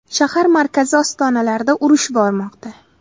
Shahar markazi ostonalarida urush bormoqda.